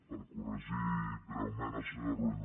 per corregir breument el senyor rull